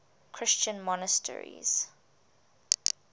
christian monasteries